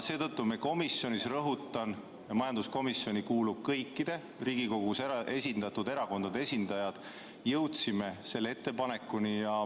Seetõttu me majanduskomisjonis, kuhu kuulub kõikide Riigikogus esindatud erakondade esindajaid, jõudsimegi selle ettepanekuni.